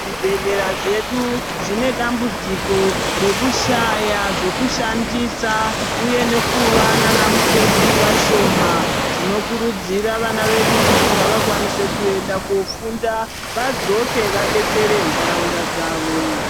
Zvibhedhlera zvedu zvine dambudziko rekushaya zvekushandisa uye nana mukoti vashoma tinokurudzira vana vedu kuti ngavakwaniee kuenda kofunda vadzoke vadetsere ntaraunda dzawo.